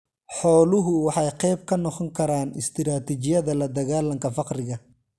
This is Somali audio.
Xooluhu waxay qayb ka noqon karaan istiraatijiyada ladagaalanka faqriga.